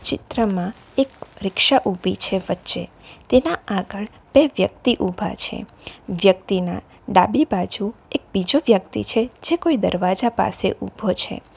ચિત્રમાં એક રીક્ષા ઉભી છે વચ્ચે તેના આગળ બે વ્યક્તિ ઉભા છે વ્યક્તિના ડાબી બાજુ એક બીજો વ્યક્તિ છે જે કોઈ દરવાજા પાસે ઉભો છે.